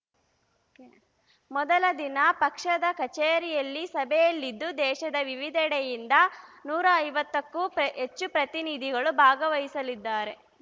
ಮೊದಲ ದಿನ ಪಕ್ಷದ ಕಚೇರಿಯಲ್ಲಿ ಸಭೆಯಲಿದ್ದು ದೇಶದ ವಿವಿಧಡೆಯಿಂದ ನೂರ ಐವತ್ತಕ್ಕೂ ಪೆ ಹೆಚ್ಚು ಪ್ರತಿನಿಧಿಗಳು ಭಾಗವಹಿಸಲಿದ್ದಾರೆ